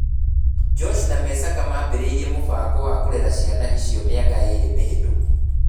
Josh na Jessaka maambĩrĩirie mũbango wa kũrera ciana icio mĩaka ĩĩrĩ mĩhĩtũku